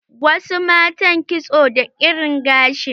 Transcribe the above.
Wasu matan kitso da ƙarin gashi.